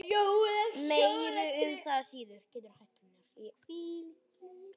Meira um það síðar.